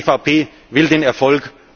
Die EVP will den Erfolg.